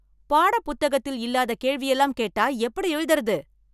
பாடப் புத்தகத்தில் இல்லாத கேள்வியெல்லாம் கேட்டா எப்படி எழுதுறது?